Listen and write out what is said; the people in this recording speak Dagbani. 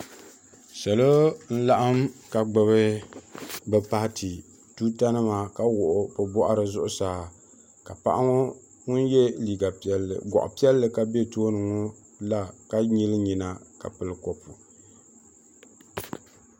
Salo n laɣim ka gbibi bɛ paati tuuta nima ka wuɣi bɛ boɣari zuɣusaa ka paɣa ŋun ye gɔɣa piɛlli ka be tooni ŋɔ la ka nyili nyina ka pili kopu.